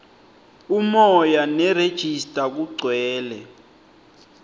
umoya nerejista kugcwele